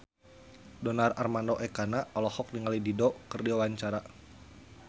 Donar Armando Ekana olohok ningali Dido keur diwawancara